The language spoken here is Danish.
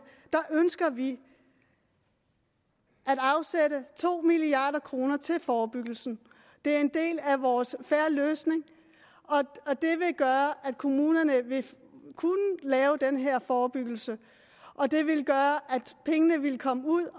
ønsker vi at afsætte to milliard kroner til forebyggelse det er en del af vores en fair løsning og det ville gøre at kommunerne ville kunne lave den her forebyggelse og det ville gøre at pengene ville komme ud og